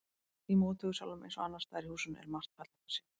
Í móttökusalnum eins og annars staðar í húsinu er margt fallegt að sjá.